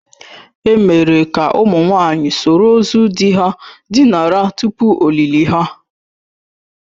E mere ka ụmụ nwanyị soro ozu di ha dinara tupu ọlịlị ha.